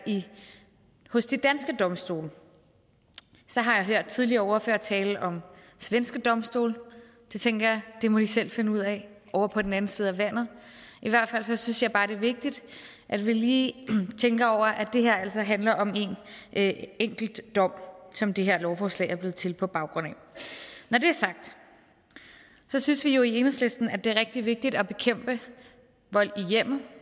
hos de danske domstole så har jeg hørt tidligere ordførere tale om svenske domstole og så tænker jeg det må de selv finde ud af ovre på den anden side af vandet i hvert fald synes jeg bare det er vigtigt at vi lige tænker over at det her altså handler om en enkelt dom som det her lovforslag er blevet til på baggrund af når det er sagt synes vi jo i enhedslisten at det er rigtig vigtigt at bekæmpe vold i hjemmet